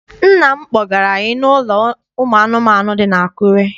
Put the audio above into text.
Nna m kpọgara anyị n'ụlọ ụmụ anụmanụ dị n'Akure.